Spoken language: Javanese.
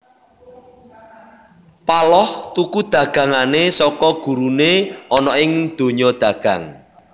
Paloh tuku dagangané saka guruné ana ing donya dagang